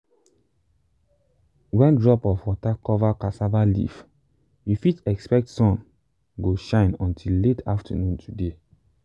when drop of water cover cassava leaf you fit expect sun go shine until late afternoon today.